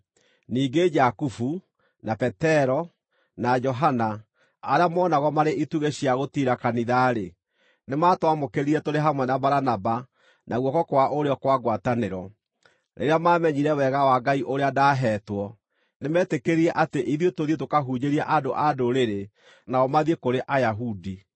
Ningĩ Jakubu, na Petero, na Johana, arĩa moonagwo marĩ itugĩ cia gũtiira kanitha-rĩ, nĩmatwamũkĩrire tũrĩ hamwe na Baranaba na guoko kwa ũrĩo kwa ngwatanĩro, rĩrĩa maamenyire wega wa Ngai ũrĩa ndaaheetwo. Nĩmetĩkĩrire atĩ ithuĩ tũthiĩ tũkahunjĩrie andũ-a-Ndũrĩrĩ, nao mathiĩ kũrĩ Ayahudi.